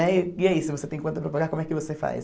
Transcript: Né e aí, se você tem conta para pagar, como é que você faz?